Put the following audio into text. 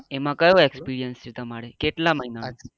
એમાં કયો experience છે તમારે કેટલા મહિના નો